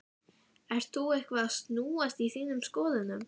Ert þú eitthvað að snúast í þínum skoðunum?